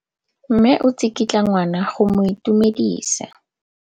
Mme o tsikitla ngwana go mo itumedisa.